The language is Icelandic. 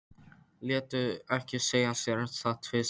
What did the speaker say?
Létu ekki segja sér það tvisvar.